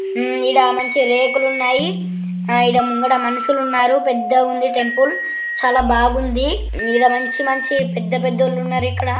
మ్మ్ ఈడ మంచి రేకులు ఉన్నాయి. ఆ ఈడ ముంగడ మనుషులు ఉన్నారు. పెద్దగా ఉంది టెంపుల్ చాలా బాగుంది. ఈడ మంచి మంచి పెద్ధపెద్దోలు ఉన్నరు ఇక్కడ. ]